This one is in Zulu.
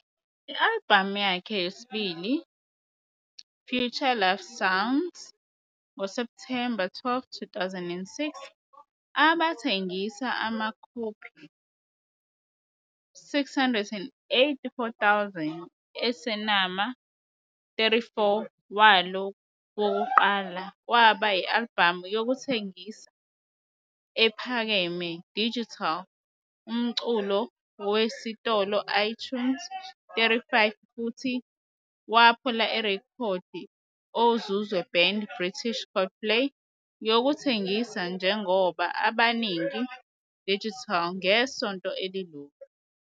albhamu yakhe yesibili, FutureSex - LoveSounds, ngo-September 12, 2006, abathengisa amakhophi 684,000 e semana.34 walo wokuqala waba i-albhamu yokuthengisa ephakeme digital umculo esitolo iTunes, 35 futhi waphula irekhodi ozuzwe band British Coldplay yokuthengisa njengoba abaningi digital ngesonto elilodwa.